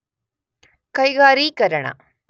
ಕೈಗಾರೀಕರಣ